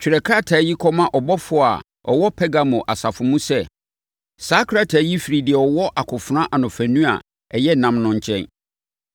“Twerɛ krataa yi kɔma ɔbɔfoɔ a ɔwɔ Pergamo asafo mu sɛ: Saa krataa yi firi deɛ ɔwɔ akofena anofanu a ɛyɛ nnam no nkyɛn.